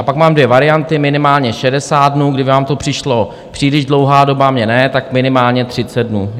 A pak mám dvě varianty - minimálně 60 dnů, kdyby vám to přišla příliš dlouhá doba, mně ne, tak minimálně 30 dnů.